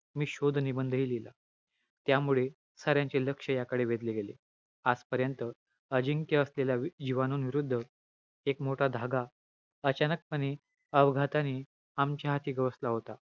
गर्भ निर्मिती हे शुक्रधातूंचे कार्य घडत असते.